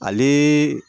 Ale